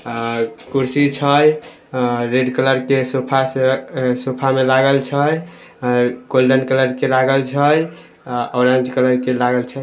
आ कुर्सी छई आ रेड कलर के सोफ़ा से सोफ़ा मे लागल छई आ गोल्डन कलर के लागल छई आ ऑरेंज कलर के लागल छई।